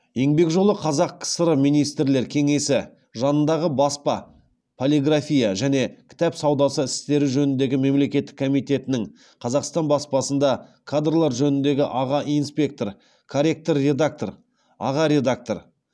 еңбек жолы қазақ кср министрлер кеңесі жанындағы баспа полиграфия және кітап саудасы істері жөніндегі мемлекеттік комитетінің қазақстан баспасында кадрлар жөніндегі аға инспектор корректор редактор аға редактор